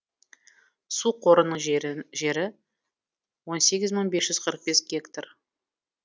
су қорының жері он сегіз мың бес жүз қырық бес гектар